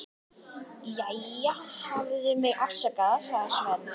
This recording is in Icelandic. Jæja, hafðu mig afsakaðan, sagði Sveinn.